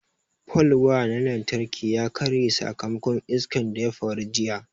Palwaya na lantarki ya karye sakamakon iskan da ƴa faru jiƴa.